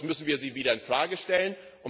Sonst müssen wir sie wieder in Frage stellen.